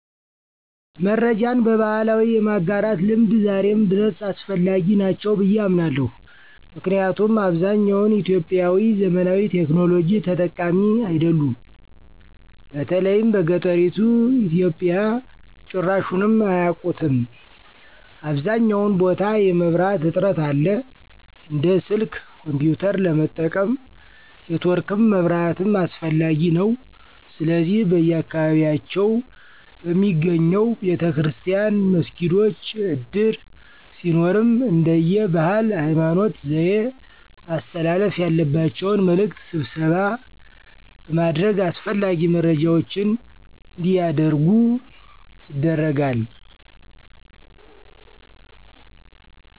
መረጃን በባህላዊ የማጋራት ልምድ ዛሬም ድረስ አስፈላጊ ናቸው ብየ አምናለሁ። ምክንያቱም አብዛኛውን ኢትዮጵያዊ ዘመናዊ ቴክኖሎጂ ተጠቃሚ አይደሉም። በተለይም በገጠሪቱ ኢትዮጵያ ጭራሹንም አያቁትም .አብዛኛውን ቦታ የመብራት እጥረት አለ። እንደ ስልክ፣ ኮንፒዩተር ለመጠቀም ኔትወርክም መብራትም አስፈላጊ ነዉ። ስለዚህ በየአካባቢያቸው በሚገኘው ቤተክርስቲያን፣ መስጊዶች፣ እድር ሲኖርም እንደየ ባህል፣ ሀይማኖት፣ ዘዬ ማስተላለፍ ያለባቸውን መልዕክት ስብሰባ በማድረግ አስፈላጊ መረጃዎች አንዲያደርጉ ይደረጋል።